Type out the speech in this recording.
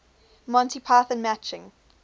monty python matching